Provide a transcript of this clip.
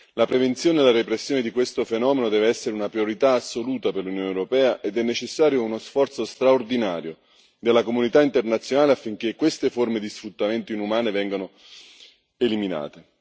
La prevenzione e la repressione di questo fenomeno devono essere una priorità assoluta per l'Unione europea, ed è necessario uno sforzo straordinario della comunità internazionale affinché queste forme di sfruttamento inumane vengano eliminate.